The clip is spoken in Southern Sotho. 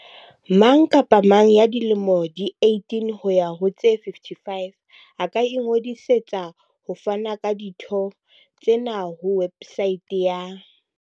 Mang kapa mang ya dilemo di 18 ho ya ho tse 55 a ka ingodisetsa ho fana ka ditho tsena ho websaete ya